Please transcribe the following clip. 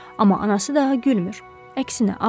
Amma anası daha gülmür, əksinə ağlayır.